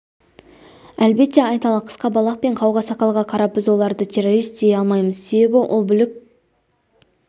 әлбетте айталық қысқа балақ пен қауға сақалға қарап біз оларды террорист дей алмаймыз себебі ол бүлік